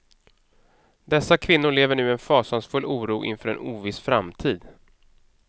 Dessa kvinnor lever nu i en fasansfull oro inför en oviss framtid.